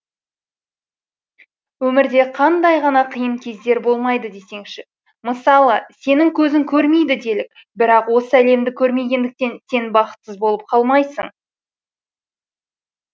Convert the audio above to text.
өмірде қандай ғана қиын кездер болмайды десеңші мысалы сенің көзің көрмейді делік бірақ осы әлемді көрмегендіктен сен бақытсыз болып қалмайсың